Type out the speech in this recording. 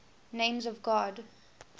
names of god